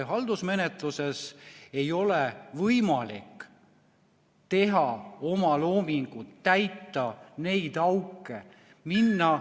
Haldusmenetluses ei ole võimalik teha omaloomingut, täita neid auke omaloominguga, minna ...